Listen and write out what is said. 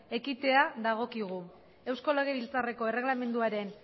ekitea dagokigu eusko legebiltzarreko erregelamenduaren